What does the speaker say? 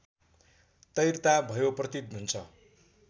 तैरता भयो प्रतीत हुन्छ